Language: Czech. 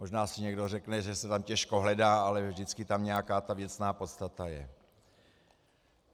Možná si někdo řekne, že se tam těžko hledá, ale vždycky tam nějaká ta věcná podstata je.